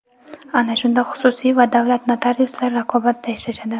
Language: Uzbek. Ana shunda xususiy va davlat notariuslari raqobatda ishlashadi.